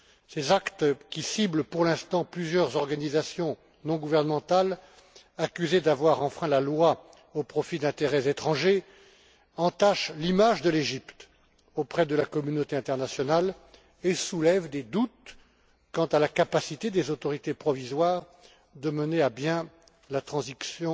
Ces actes, qui ciblent pour l'instant plusieurs organisations non gouvernementales accusées d'avoir enfreint la loi au profit d'intérêts étrangers, entachent l'image de l'Égypte auprès de la communauté internationale et soulèvent des doutes quant à la capacité des autorités provisoires de mener à bien la transition